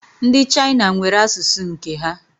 Ndi China nwere asusu nke ha